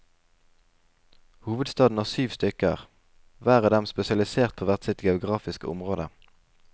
Hovedstaden har syv stykker, hver av dem spesialisert på hvert sitt geografiske område.